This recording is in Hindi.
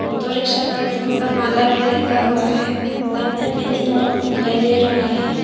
ऑटो रिक्शा पर फूल का माला भी लटका हुआ है सामने में तीन लोग भी दिखाई दे रहा है।